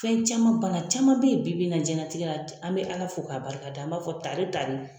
Fɛn caman bana caman beyi bibi in na jɛnlatigɛ la an bɛ ALA fo k'a barika da an b'a fɔ tare tare.